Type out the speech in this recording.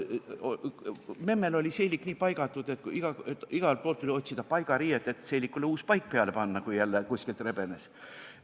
Memmel oli seelik nii paigatud, et igalt poolt tuli otsida paigariiet, et seelikule uus paik peale panna, kui jälle kuskilt rebenes.